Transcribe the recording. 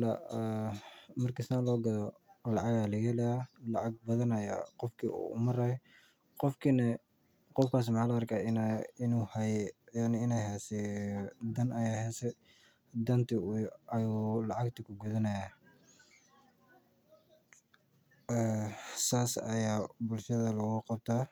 lacag badan ayaa laga helaa laga yaaba inaay dan haysate wuu gudanayaa saas ayaa bulshada loogu qabtaa.